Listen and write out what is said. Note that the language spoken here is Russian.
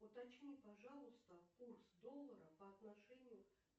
уточни пожалуйста курс доллара по отношению